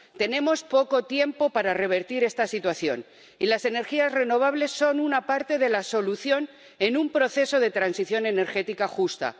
Tenemos poco tiempo para revertir esta situación, y las energías renovables son una parte de la solución en un proceso de transición energética justa.